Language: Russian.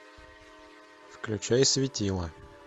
включай светила